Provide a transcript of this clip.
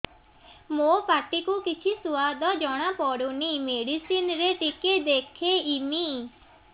ମୋ ପାଟି କୁ କିଛି ସୁଆଦ ଜଣାପଡ଼ୁନି ମେଡିସିନ ରେ ଟିକେ ଦେଖେଇମି